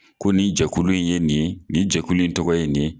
Ko nin jɛkulu in ye nin ye nin jɛkulu in tɔgɔ ye nin